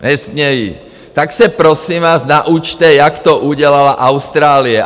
Tak se prosím vás naučte, jak to udělala Austrálie.